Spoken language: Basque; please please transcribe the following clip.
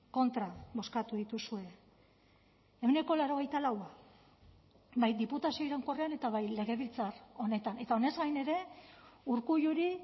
kontra bozkatu dituzue ehuneko laurogeita lau bai diputazio iraunkorrean eta bai legebiltzar honetan eta honez gain ere urkulluri